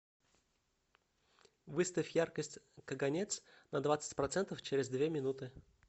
выставь яркость каганец на двадцать процентов через две минуты